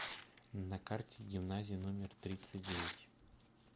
на карте гимназия номер тридцать девять